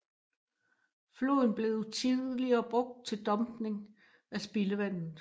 Floden blev tidligere brugt til dumpning af spildevandet